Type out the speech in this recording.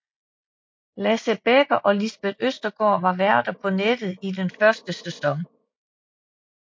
Lasse Bekker og Lisbeth Østergaard var værter på nettet i den første sæson